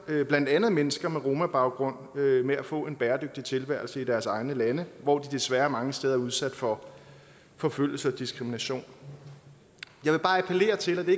blandt andet mennesker med romabaggrund med at få en bæredygtig tilværelse i deres egne lande hvor de desværre mange steder er udsat for forfølgelse og diskrimination jeg vil bare appellere til og det